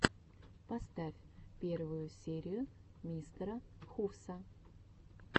поставь первую серию мистера хувса